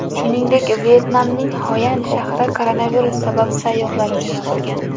Shuningdek, Vyetnamning Xoyan shahri koronavirus sabab sayyohlar uchun yopilgan .